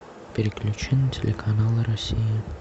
переключи на телеканал россия